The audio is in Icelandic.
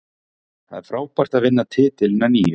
Það er frábært að vinna titilinn að nýju.